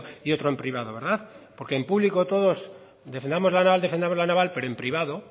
y otro en privado verdad porque en público todos defendamos la naval defendamos la naval pero en privado